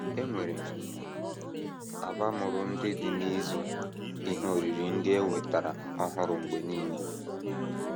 E nwere abamuru ndị dị n’ịzụ ihe oriri ndị e nwetara ọhụrụ mgbe nile